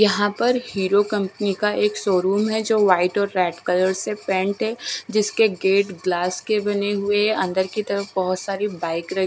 यहां पर हीरो कंपनी का एक शोरूम है जो व्हाइट और रेड कलर से पेंट है जिसके गेट ग्लास के बने हुए हैं अंदर की तरफ बहुत सारी बाइक र--